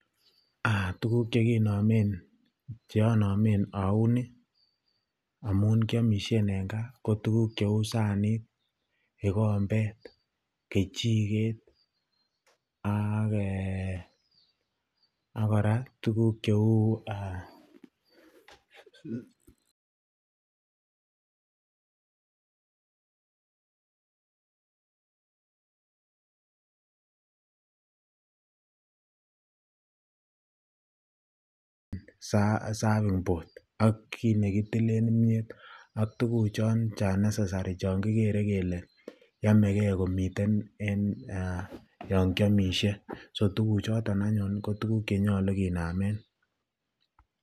Tukuk cheonomen aunii amun kiomishen en kaa ko tukuk cheuu saniit, kikombet, kejiket ak kora tukuk cheuu serving bord ak kiit nekitilen imnyet ak tukuchon chon necessary chon kikere komiten en yoon kiomishe, so tukuk choton aanyun ko tukuk chenyolu kinamen.